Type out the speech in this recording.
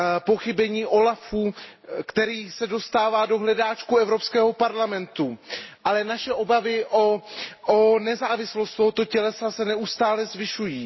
Pochybení úřadu OLAF, který se dostává do hledáčku Evropského parlamentu, ale naše obavy o nezávislost tohoto úřadu se neustále zvyšují.